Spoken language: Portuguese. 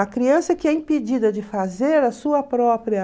A criança que é impedida de fazer a sua própria...